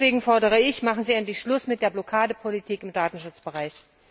Deswegen fordere ich Machen Sie endlich Schluss mit der Blockadepolitik im Datenschutzbereich!